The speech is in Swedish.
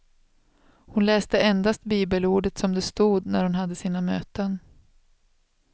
Hon läste endast bibelordet som det stod, när hon hade sina möten.